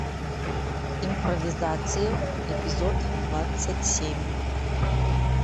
импровизация эпизод двадцать семь